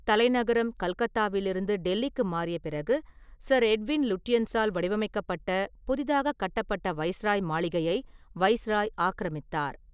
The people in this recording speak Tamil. தலைநகரம் கல்கத்தாவிலிருந்து டெல்லிக்கு மாறிய பிறகு, சர் எட்வின் லுட்யன்ஸால் வடிவமைக்கப்பட்ட புதிதாக கட்டப்பட்ட வைஸ்ராய் மாளிகையை வைசிராய் ஆக்கிரமித்தார்.